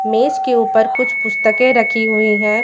मेज के ऊपर कुछ पुस्तकें रखी हुई है।